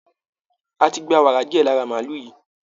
A ti gba wàrà díẹ̀ lára màálù yìí